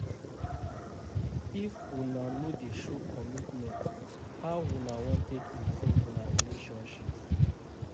If una no dey show commitment, how una wan take improve una relationship?